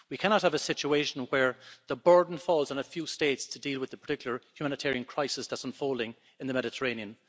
We cannot have a situation where the burden falls on a few states to deal with the particular humanitarian crisis that is unfolding in the Mediterranean.